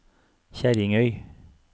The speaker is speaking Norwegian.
Kjerringøy